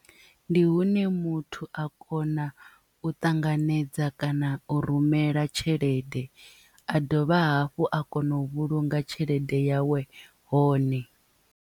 Ndi hune muthu a kona u ṱanganedza kana u rumela tshelede a dovha hafhu a kona u vhulunga tshelede yawe hone.